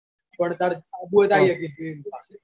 પણ તાર આબુ હોય તો આઈ સકી તું ઈમ લા.